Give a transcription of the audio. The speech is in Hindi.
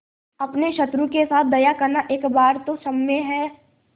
अपने शत्रु के साथ दया करना एक बार तो क्षम्य है